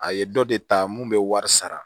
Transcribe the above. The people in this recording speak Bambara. A ye dɔ de ta mun bɛ wari sara